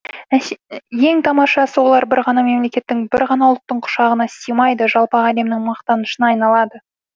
ең тамашасы олар бір ғана мемлекеттің бір ғана ұлттың құшағына симайды жалпақ әлемнің мақтанышына айналады